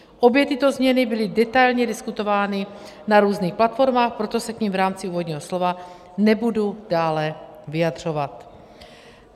Obě tyto změny byly detailně diskutovány na různých platformách, proto se k nim v rámci úvodního slova nebudu dále vyjadřovat.